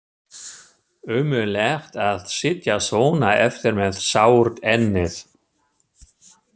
Ömurlegt að sitja svona eftir með sárt ennið.